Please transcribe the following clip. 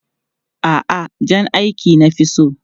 A'a, jan aiki na fi so.